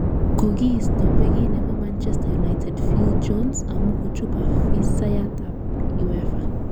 Kokiisto beki nebo manchester united phil jones amu kochub afisayat ab uefa